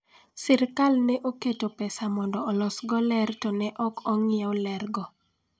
Sirkal ne oketo pesa mondo olosgo ler to ne ok ong'iew lergo.